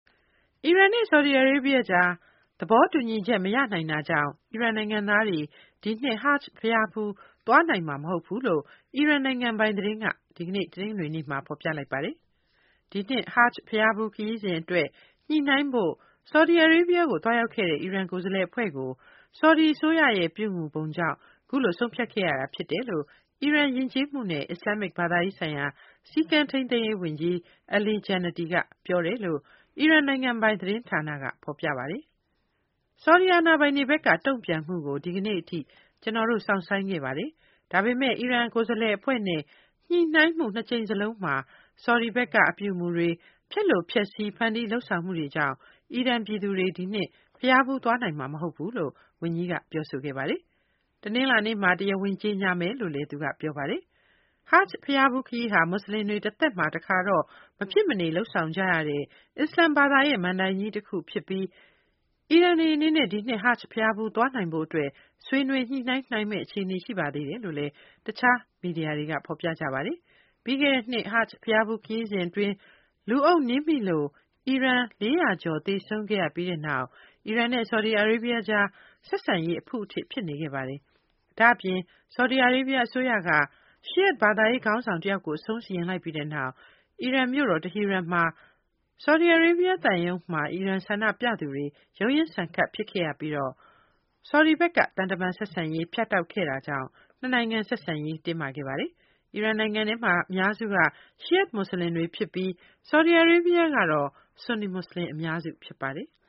အီရန်နဲ့ ဆော်ဒီအာရေးဘီးယားအကြား သဘောတူညီချက် မရနိုင်တာကြောင့် အီရန်နိုင်ငံသားတွေ ဒီနှစ် ဟာ့ဂျ်ဘုရားဖူး သွားနိုင်မှာမဟုတ်ဘူးလို့ အီရန်နိုင်ငံပိုင်သတင်းက ဒီကနေ့ တနင်္ဂနွေနေ့မှာ ဖော်ပြပါတယ်။ ဒီနှစ် ဟာ့ဂျ်ဘုရားဖူးခရီးစဉ်အတွက် ညှိနှိုင်းဖို့ ဆော်ဒီအာရေးဘီးယားကို သွားရောက်ခဲ့တဲ့ အီရန် ကိုယ်စားလှယ်အဖွဲ့အပေါ် ဆော်ဒီအစိုးရရဲ့ ပြုမူပုံကြောင့် အခုလို ဆုံးဖြတ်ခဲ့ရတာဖြစ်တယ်လို့ အီရန် ယဉ်ကျေးမှုနဲ့ အစ္စလာမ္မစ် ဘာသာရေးဆိုင်ရာ စည်းကမ်းထိန်းသိမ်းရေးဝန်ကြီး Ali Jannati က ပြောဆိုတယ် လို့လည်း အီရန်နိုင်ငံပိုင် သတင်းဌာနက ဖော်ပြပါတယ်။ ဆော်ဒီအာဏာပိုင်တွေဘက်က တုံ့ပြန်မှုကို ဒီကနေ့အထိ ကျနော်တို့ စောင့်ဆိုင်းခဲ့ပါတယ်၊ ဒါပေမယ့် အီရန် ကိုယ်စားလှယ်အဖွဲ့နဲ့ညှိနှိုင်းမှု နှစ်ကြိမ်စလုံးမှာ ဆော်ဒီဘက်က ပြုမူပုံတွေ၊ ဖျက်လိုဖျက်ဆီး ဖန်တီး လုပ်ဆောင်မှုတွေကြောင့် အီရန်ပြည်သူတွေ ဒီနှစ် ဘုရားဖူးသွားနိုင်မှာ မဟုတ်ဘူးလို့ ဝန်ကြီးက ပြောဆိုခဲ့တာ ဖြစ်ပါတယ်။ တနလာၤနေ့မှာ တရားဝင် ကြေညာမယ်လို့လည်း သူက ပြောပါတယ်။ ဟာ့ဂျ်ဘုရားဖူးခရီးဟာ မူဆလင်တွေ တသက်မှာ တခါတော့ မဖြစ်မနေ လုပ်ဆောင်ကြရတဲ့ အစ္စလာမ် ဘာသာရဲ့ အဓိကကမဏ္ဍိုင်ကြီးတခုဖြစ်ပါတယ်။ အီရန်တို့ ဒီနှစ် ဟာ့ဂျ်ဘုရားဖူးသွားနိုင်ဖို့ အတွက် ဆွေးနွေး ညှိနှိုင်းနိုင်မယ့် အခြေအနေ ရှိပါသေးတယ်လို့တော့ တခြားမီဒီယာတွေက ဖော်ပြကြပါတယ်။ ပြီးခဲ့တဲ့နှစ် ဟာ့ဂျ်ဘုရားဖူးခရီးစဉ်အတွင်း လူအုပ်နင်းမိလို့ အီရန် ၄၀၀ ကျော် သေဆုံးခဲ့ပြီးတဲ့နောက် အီရန်နဲ့ ဆော်ဒီအာရေးဘီးယားကြား ဆက်ဆံရေးမှာ အဖုအထစ် ဖြစ်နေခဲ့တာပါ။ ဒါ့အပြင် ဆော်ဒီအာရေးဘီးယားအစိုးရက Shi’ite ဘာသာရေးခေါင်းဆောင်တဦးကို အဆုံးစီရင်လိုက်ပြီးနောက် အီရန်မြို့တော် တီဟီရန်က ဆော်ဒီအာရေးဘီးယားသံရုံးမှာ အီရန်ဆန္ဒပြသူတွေ ရုန်းရင်းဆန်ခတ် ဖြစ်ခဲ့ပြီး ဆော်ဒီဘက်က သံတမန်ဆက်ဆံရေးကို ဖြတ်တောက်ခဲ့တာကြောင့်လည်း နှစ်နိုင်ငံဆက်ဆံရေး တင်းမာနေ တာပါ။ အီရန်နိုင်ငံမှာ အများစုက Shi’ite မူဆလင်တွေဖြစ်ပြီး ဆော်ဒီအာရေးဘီးယားမှာတော့ ဆွန်နီမူဆလင် က အများစုဖြစ်ပါတယ်။